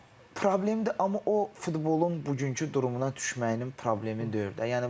O problemdir, amma o futbolun bugünkü durumuna düşməyinin problemi deyil də.